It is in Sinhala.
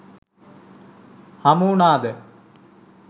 හමු වුණාද?